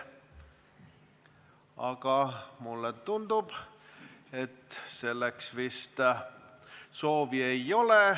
Aga mulle tundub, et selleks soovi ei ole.